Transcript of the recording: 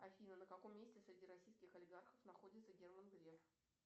афина на каком месте среди российских олигархов находится герман греф